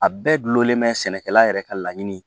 A bɛɛ gulonlen bɛ sɛnɛkɛla yɛrɛ ka laɲini